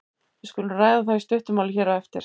Við skulum ræða það í stuttu máli hér á eftir.